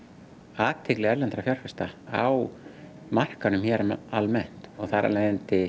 athygli erlendra fjárfesta á markaðnum hér almennt þar af leiðandi